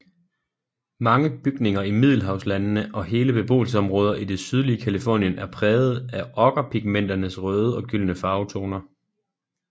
Mange bygninger i Middelhavslandene og hele beboelsesområder i det sydlige Californien er prægede af okkerpigmenternes røde og gyldne farvetoner